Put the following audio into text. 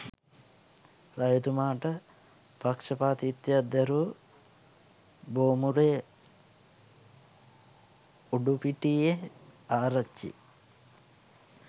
රජතුමාට පක්ෂපාතිත්වයක් දැරූ බෝමුරේ උඩුපිටියේ ආරච්චි